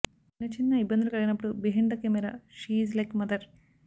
చిన్న చిన్న ఇబ్బందులు కలిగినపుడు behind the camera she is like mother